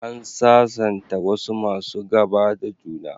An sasanta wasu masu gaba da juna.